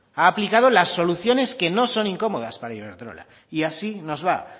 ha aplicado las soluciones que no son incomodas para iberdrola y así nos va